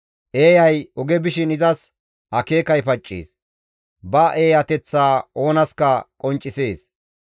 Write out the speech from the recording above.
Eeyay oge bishin izas akeekay paccees; ba eeyateththa oonaska qonccisees.